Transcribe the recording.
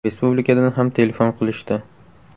– Respublikadan ham telefon qilishdi.